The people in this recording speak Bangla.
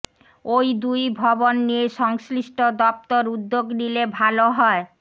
ওই দুই ভবন নিয়ে সংশ্লিষ্ট দপ্তর উদ্যোগ নিলে ভালো হয়